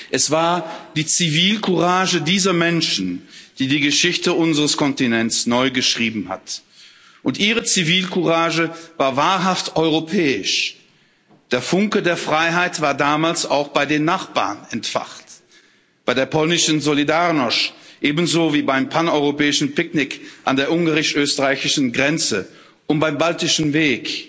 Es war die Zivilcourage dieser Menschen, die die Geschichte unseres Kontinents neu geschrieben hat, und ihre Zivilcourage war wahrhaft europäisch. Der Funke der Freiheit war damals auch bei den Nachbarn entfacht bei der polnischen Solidarność ebenso wie beim Paneuropäischen Picknick an der ungarisch österreichischen Grenze und beim Baltischen Weg.